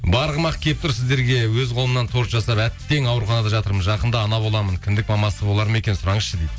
барғым ақ келіп тұр сіздерге өз қолымнан торт жасап әттең ауруханада жатырмын жақында ана боламын кіндік мамасы болар ма екен сұраңызшы дейді